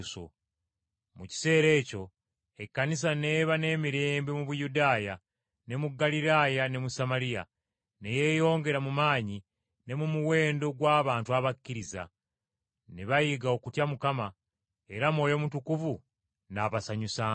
Mu kiseera ekyo Ekkanisa n’eba n’emirembe mu Buyudaaya, ne mu Ggaliraaya ne mu Samaliya; ne yeeyongera mu maanyi ne mu muwendo gw’abantu abakkiriza. Ne bayiga okutya Mukama, era Mwoyo Mutukuvu n’abasanyusanga.